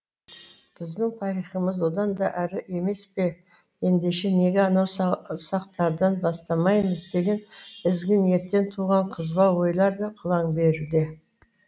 біздің тарихымыз одан да әрі емес пе ендеше неге анау сақтардан бастамаймыз деген ізгі ниеттен туған қызба ойлар да қылаң беруде